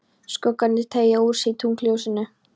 Skuggarnir teygja úr sér í tunglsljósinu.